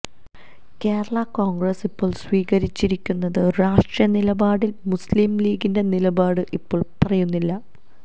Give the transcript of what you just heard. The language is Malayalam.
കേരള കോണ്ഗ്രസ് ഇപ്പോള് സ്വീകരിച്ചിരിക്കുന്ന രാഷ്ട്രീയ നിലപാടില് മുസ്ലിം ലീഗിന്റെ നിലപാട് ഇപ്പോള് പറയുന്നില്ല